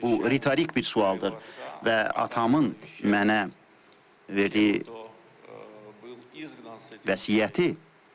Bu ritorik bir sualdır və atamın mənə verdiyi vəsiyyəti.